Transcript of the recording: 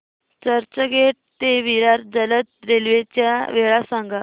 चर्चगेट ते विरार जलद रेल्वे च्या वेळा सांगा